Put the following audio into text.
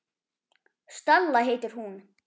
Stella heitir hún.